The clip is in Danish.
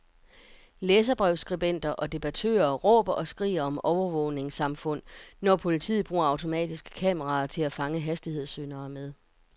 Læserbrevsskribenter og debattører råber og skriger om overvågningssamfund, når politiet bruger automatiske kameraer til at fange hastighedssyndere med.